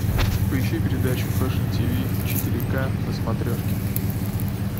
поищи передачу фэшн тв четыре ка на смотрешке